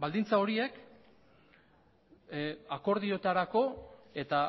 baldintza horiek akordioetarako eta